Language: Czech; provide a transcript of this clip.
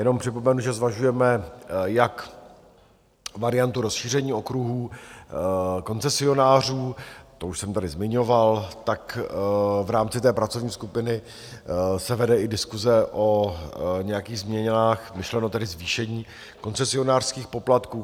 Jenom připomenu, že zvažujeme jak variantu rozšíření okruhů koncesionářů, to už jsem tady zmiňoval, tak v rámci té pracovní skupiny se vede i diskuse o nějakých změnách, myšleno tedy zvýšení koncesionářských poplatků.